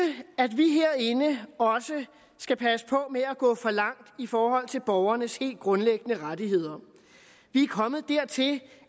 at vi herinde skal passe på med at gå for langt i forhold til borgernes helt grundlæggende rettigheder vi er kommet dertil